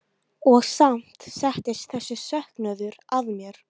Og samt settist þessi söknuður að mér.